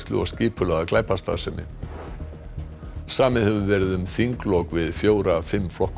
og skipulagða glæpastarfsemi samið hefur verið um þinglok við fjóra af fimm flokkum